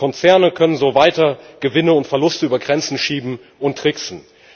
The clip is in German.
Konzerne können so weiter Gewinne und Verluste über Grenzen schieben und tricksen.